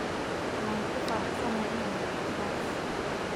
Waan ku faraxsanahay inaan maqlo taas.